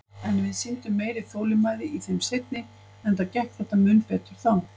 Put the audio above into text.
En við sýndum meiri þolinmæði í þeim seinni, enda gekk þetta mun betur þá.